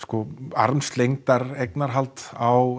armslengdar eignarhald á